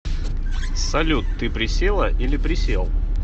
салют ты присела или присел